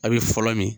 A' bɛ fɔlɔ min